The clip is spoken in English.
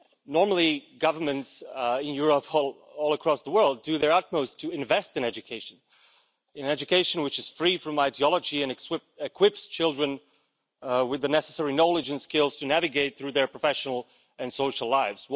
Normally, governments in Europe and all across the world do their utmost to invest in education education which is free from ideology and equips children with the necessary knowledge and skills to navigate through their professional and social lives.